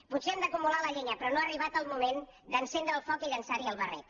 potser hem d’acumular la llenya però no ha arribat el moment d’encendre el foc i llençar hi el barret